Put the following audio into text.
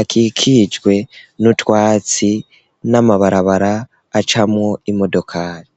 akikijwe n'utwatsi n'amabarabara acamwo imodokari.